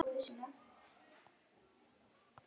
át Jón Arason upp þegar sonur hans flutti honum tíðindin.